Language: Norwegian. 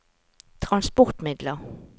transportmidler